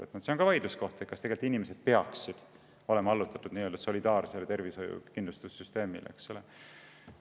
Aga ka see on üks vaidluskoht, kas inimesed peaksid olema allutatud nii-öelda solidaarsele tervishoiusüsteemile?